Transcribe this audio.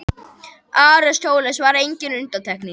Aristóteles var engin undantekning.